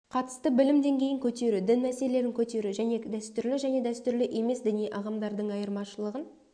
қатысты білім деңгейін көтеру дін мәселелерін көтеру және дәстүрлі және дәстүрлі емес діни ағымдардың айырмашылығын